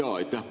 Aitäh!